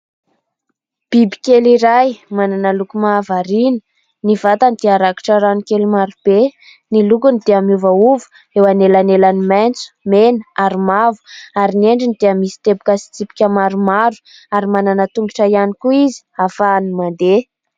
Bibikely iray manana loko mahavarina, ny vatany dia rakitra ranokely marobe, ny lokony dia miovaova eo anelanelan'ny maitso, mena ary mavo ary ny endriny dia misy teboka sy tsipika maromaro ary manana tongotra ihany koa izy ahafahany mandeha.